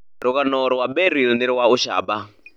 Rũgano rwa Beryl nĩ rwa ũcamba.